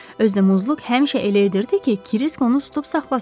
Özü də Muzluq həmişə elə edirdi ki, Kirisk onu tutub saxlasın.